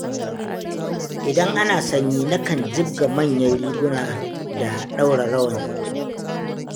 Idan ana sanyi, nakan jibga manyan riguna da ɗaura rawani.